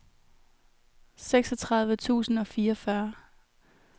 seksogtredive tusind og fireogfyrre